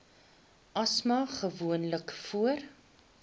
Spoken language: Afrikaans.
asma gewoonlik voor